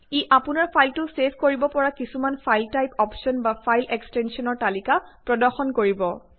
ই আপোনাৰ ফাইলটো ছেভ কৰিব পৰা কিছুমান ফাইল টাইপ অপশ্বন বা ফাইল এক্সটেনছনৰ তালিকা প্ৰদৰ্শন কৰিব